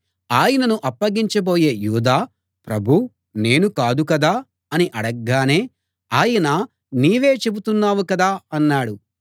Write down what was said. ఆయనను అప్పగించబోయే యూదా ప్రభూ నేను కాదు కదా అని అడగ్గానే ఆయన నీవే చెబుతున్నావు కదా అన్నాడు